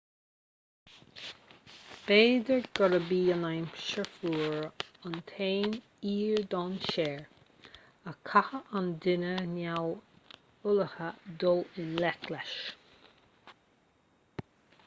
b'fhéidir gurb í an aimsir fhuar an t-aon fhíor-dainséar a gcaithfeadh an duine neamhullmhaithe dul i ngleic leis